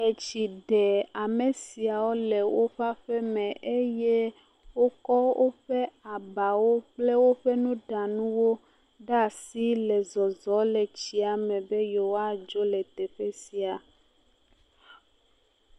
Etsi ɖe ame siawo le woƒe aƒe me eye wokɔ eƒe abawo kple woƒe nuɖanuwo ɖe asi le zɔzɔm le xɔ la me be yewoa dzo le teƒe sia.